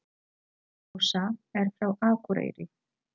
Ása er frá Akureyri.